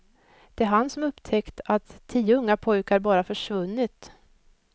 Det är han som upptäckt att tio unga pojkar bara försvunnit.